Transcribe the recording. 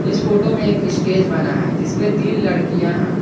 इस फोटो में एक स्टेज बना है जिस पे तीन लड़कियां हैं।